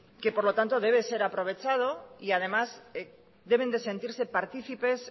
que por lo tanto debe de ser aprovechado y además deben de sentirse partícipes